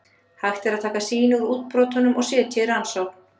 Hægt er að taka sýni úr útbrotunum og setja í rannsókn.